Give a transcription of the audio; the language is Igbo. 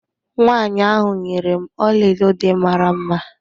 Nwanyi ahụ nyere m ọlaedo dị mara mma.